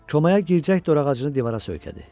Komaya girəcək dor ağacını divara söykədi.